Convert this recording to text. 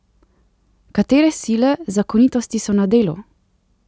Katere sile, zakonitosti so na delu?